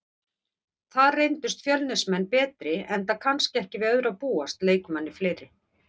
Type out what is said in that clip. Þar reyndust Fjölnismenn betri enda kannski ekki við öðru að búast, leikmanni fleiri.